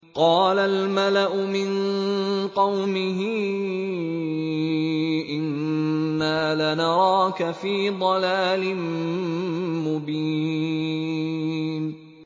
قَالَ الْمَلَأُ مِن قَوْمِهِ إِنَّا لَنَرَاكَ فِي ضَلَالٍ مُّبِينٍ